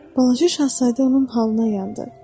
Balaca Şahzadə onun halına yandı.